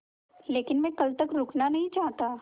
लेकिन मैं कल तक रुकना नहीं चाहता